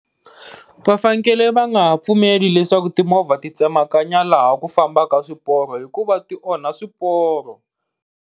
Va fanekele va nga ha pfumeli leswaku timovha ti tsemakanya laha ku fambaka swiporo hikuva ti onha swiporo.